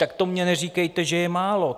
Tak to mně neříkejte, že je málo!